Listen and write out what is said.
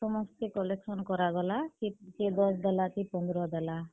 ସମସ୍ତେ collection କରାଗଲା। କିଏ ଦଶ ଦେଲା କିଏ ପନ୍ଦର ଦେଲା।